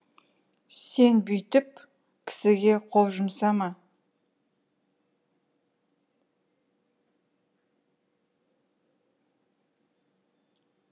сен бүйтіп кісіге қол жұмсама